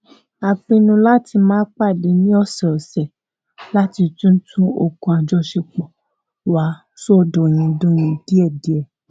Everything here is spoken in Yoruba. a pinnu láti máa pàdé ní ọsẹọsẹ láti tún tún òkun àjọṣepọ wa so dọindọin díẹdíẹ